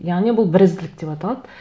яғни бұл бірізділік деп аталады